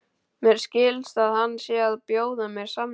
Mér skilst að hann sé að bjóða mér samning.